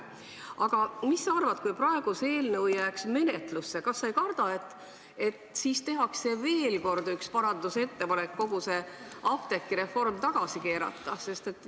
Aga mis sa arvad, kui praegu see eelnõu jääks menetlusse, kas sa ei karda, et siis tehakse veel kord üks ettepanek kogu apteegireform tagasi keerata?